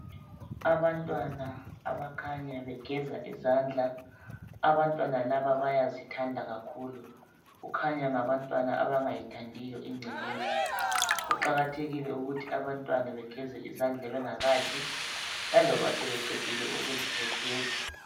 Abantwana abakhanya begeza izandla, abantwana laba bayazithanda kakhulu. Kukhanya ngabantwana abangayithandiyo ingcekeza. Kuqakathekile ukuthi abantwana begeze izandla bengakadli laloba sebeqedile ukudla begeze.